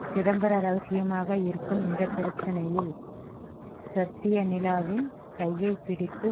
சிதம்பர ரகசியமாக இருக்கும் இந்த பிரச்சனையில் சத்யா நிலாவின் கையை பிடித்து